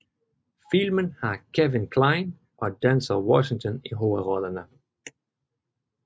Filmen har Kevin Kline og Denzel Washington i hovedrollerne